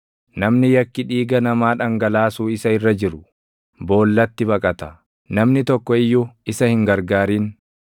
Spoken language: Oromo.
Namni yakki dhiiga namaa dhangalaasuu isa irra jiru, boollatti baqata; namni tokko iyyuu isa hin gargaarin.